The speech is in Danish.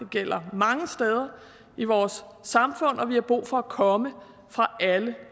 gælder mange steder i vores samfund og vi har brug for at man kommer alle